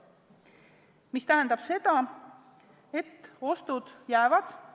Mis tähendab seda, et ostud jäävad.